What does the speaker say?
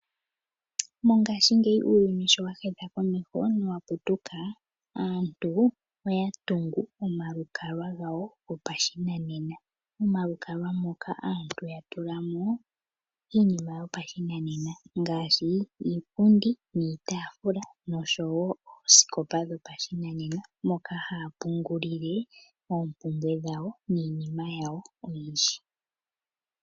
Mongashingeyi uuyuni showa hedha komeho nowa putuka aantu oya tungu omalukalwa gawo gopashinanena. Omalukalwa moka aantu oya tula mo iinima yopashinanena ngaashi iipundi niitaafula, nosho wo oosikopa dhopashinanena moka haya pungulile oompumbwe dhawo niinima yawo oyindji.